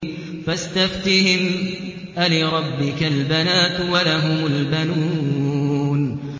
فَاسْتَفْتِهِمْ أَلِرَبِّكَ الْبَنَاتُ وَلَهُمُ الْبَنُونَ